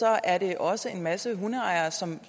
er der også en masse hundeejere som